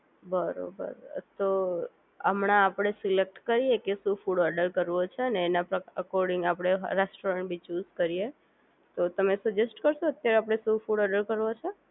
બરોબર તો હમણાં આપણે સિલેક્ટ કરીએ કે શું ફૂડ ઓનલાઈન ઓર્ડર કરવો છે અને એના અકોર્ડિંગ આપણે રેસ્ટોરન્ટ ભી ચુઝ કરીએ તો તમે સજેસ્ટ કરો અત્યારે આપણે શું ફૂડ ઓર્ડર કરવો છે